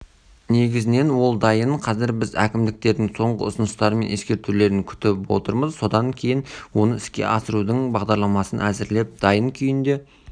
негізінен ол дайын қазір біз әкімдіктердің соңғы ұсыныстары мен ескертулерін күтіп отырмыз содан кейін оны іске асырудың бағдарламасын әзірлеп дайын күйінде